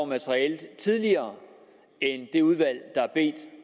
materialet tidligere end det udvalg der har bedt